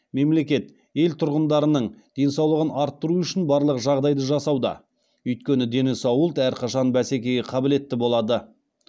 мемлекет ел тұрғындарының денсаулығын арттыру үшін барлық жаңдайды жасауда өйткені дені сау ұлт әрқашан бәсекеге қабілетті болады